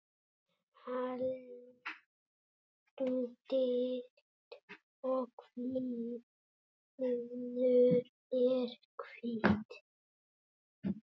Andlit og kviður er hvítt.